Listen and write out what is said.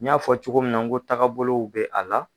N y'a fɔ cogo min na ko tagabolow bɛ a la